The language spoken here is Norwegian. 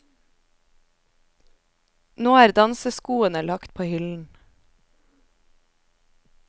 Nå er danseskoene lagt på hyllen.